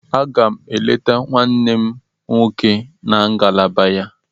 Aga m eleta nwanne m nwoke na ngalaba ya.